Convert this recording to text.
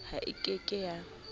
ha e ke ke ya